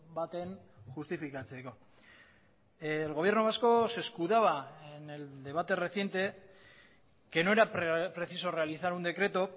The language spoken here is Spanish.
baten justifikatzeko el gobierno vasco se escudaba en el debate reciente que no era preciso realizar un decreto